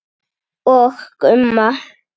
Og Gumma.